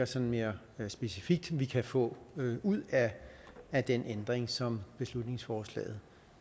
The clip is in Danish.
sådan mere specifikt kan få ud af den ændring som beslutningsforslaget